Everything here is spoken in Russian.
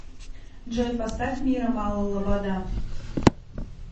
джой поставь мира мало лобода